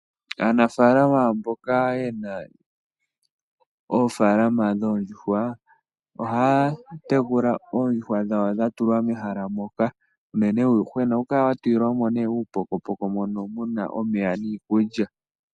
Aanafaalama mboka ye na oofaalama dhoondjuhwa ohaya tekula oondjuhwa dhawo dha tulwa mehala moka, unene uuyuhwena ohawu kala wa tulilwa mo uupokopoko mono wa tulilwa mo omeya niikulya.